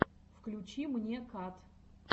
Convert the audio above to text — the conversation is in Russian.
включи мне кат